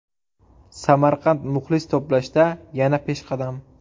Samarqand muxlis to‘plashda yana peshqadam.